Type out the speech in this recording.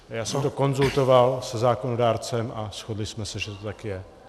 Já jsem to konzultoval se zákonodárcem a shodli jsme se, že to tak je.